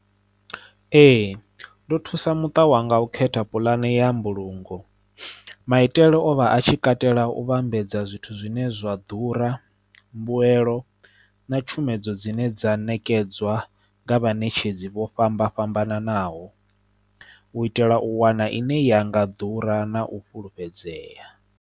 Ee ndo thusa muṱa wanga u khetha pulane ya mbulungo maitele o vha a tshi katela u vhambedza zwithu zwine zwa ḓura mbuyelo na tshumedzo dzine dza nekedzwa nga vhanetshedzi vho fhambana fhambananaho u itela u wana ine ya nga ḓura na u fhulufhedzea.